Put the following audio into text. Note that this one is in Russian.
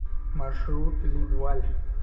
маршрут лидваль